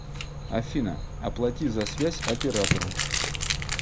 афина оплати за связь оператору